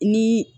Ni